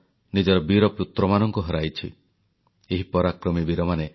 ବିର୍ସା ମୁଣ୍ଡାଙ୍କ ବୀରତ୍ବ ଏବଂ ଜାମଶେଦଜୀ ଟାଟାଙ୍କ ଉଦ୍ୟମିତାକୁ ପ୍ରଧାନମନ୍ତ୍ରୀଙ୍କ ଶ୍ରଦ୍ଧାଞ୍ଜଳି